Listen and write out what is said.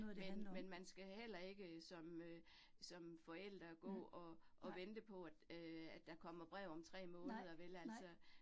Men men man skal heller ikke som øh som forælder gå og og vente på, at øh at der kommer brev om 3 måneder vel altså